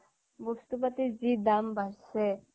বস্তু বাতিৰ যি দাম বাঢ়িছে